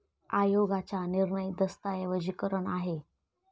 आयोगाच्या निर्णय दस्तऐवजीकरण आहे.